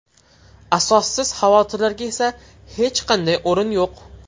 Asossiz xavotirlarga esa hech qanday o‘rin yo‘q.